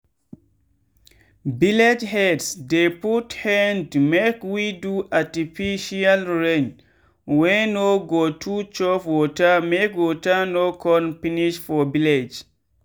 village heads dey put hand make we do artificial rain wey no go too chop watermake water no con finish for village.